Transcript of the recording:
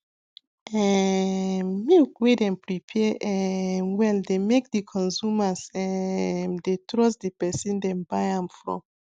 um milk wey dem prepare um well dey make the consumers um dey trust de person dem buy am from